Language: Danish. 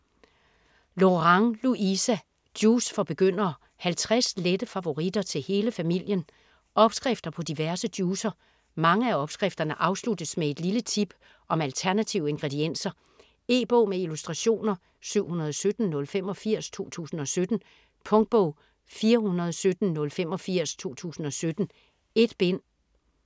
Lorang, Louisa: Juice for begyndere: 50 lette favoritter til hele familien Opskrifter på diverse juicer. Mange af opskrifterne afsluttes med et lille tip om alternative ingredienser. E-bog med illustrationer 717085 2017. Punktbog 417085 2017. 1 bind.